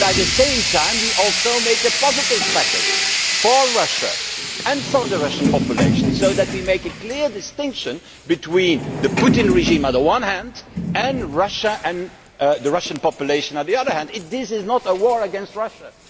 But at the same time we also have to come up with a positive package for Russia and for the Russian population, where we make a clear distinction between the Putin regime on the one hand and Russia and the Russian population on the other. This is not a war against Russia